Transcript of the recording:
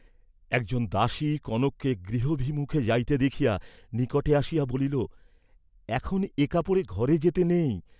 একজন দাসী কনককে গৃহভিমুখে যাইতে দেখিয়া নিকটে আসিয়া বলিল এখন এ কাপড়ে ঘরে যেতে নেই।